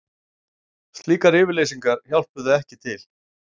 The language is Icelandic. Slíkar yfirlýsingar hjálpuðu ekki til